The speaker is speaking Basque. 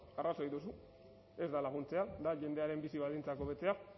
ba arrazoi duzu ez da laguntzea da jendearen bizi baldintzak hobetzea